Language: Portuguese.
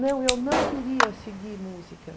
Não, eu não queria seguir música.